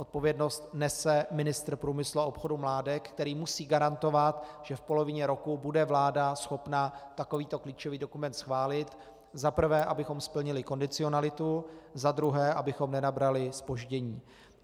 Odpovědnost nese ministr průmyslu a obchodu Mládek, který musí garantovat, že v polovině roku bude vláda schopna takovýto klíčový dokument schválit - za prvé, abychom splnili kondicionalitu, za druhé, abychom nenabrali zpoždění.